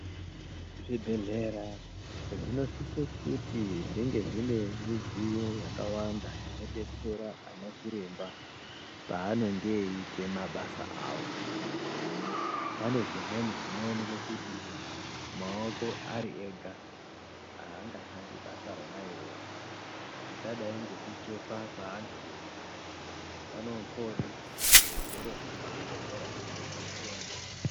Zvibhedhlera zvinosise kuti zvinge zvine midziyo yakawanda inodetsera anachiremba paanonge eiite mabasa avo. Pane zvimweni zvinooneke kuti maoko ari ega haangashandi basa rona iroro zvakadai ngekuchekwa kwaantu panenge poode zvigero zvemuzvibhedhlera zvinodetsera.